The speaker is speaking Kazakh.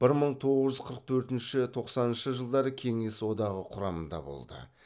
бір мың тоғыз жүз қырық төртінші тоқсаныншы жылдары кеңес одағы құрамында болды